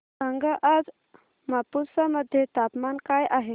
सांगा आज मापुसा मध्ये तापमान काय आहे